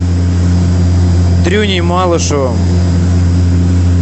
дрюней малышевым